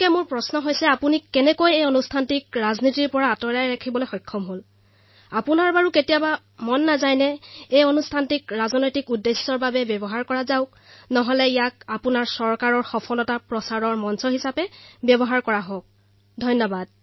মোৰ প্ৰশ্ন হল যে আপুনি এই কাৰ্যসূচীক কিদৰে ৰাজনীতিৰ পৰা দূৰত ৰখাত সফল হল কেতিয়াবা আপোনাৰ মনলৈ এই চিন্তা নাহে নে যে এই মঞ্চক ৰাজনীতিৰ বাবে ব্যৱহাৰ কৰিব পাৰি অথবা এই মঞ্চৰ পৰা আপুনি চৰকাৰৰ সাফল্যসমূহ ঘোষণা কৰিব পাৰে ধন্যবাদ